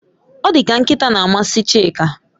Odika nkita na amasi Chika